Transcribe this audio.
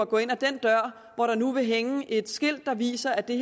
gå ind ad den dør hvor der nu vil hænge et skilt der viser at det